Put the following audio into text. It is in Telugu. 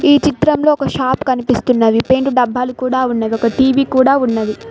ఈ చిత్రంలో ఒక షాప్ కనిపిస్తున్నది పెయింట్ డబ్బాలు కూడా ఉన్నవి టీ_వీ కూడా ఉన్నవి.